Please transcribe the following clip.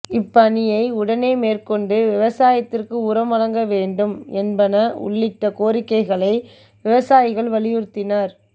இப்பணியை உடனே மேற்கொண்டு விவசாயத்திற்கு உரம் வழங்க வேண்டும் என்பன உள்ளிட்ட கோரிக்கைகளை விவசாயிகள் வலியுறுத்தினர்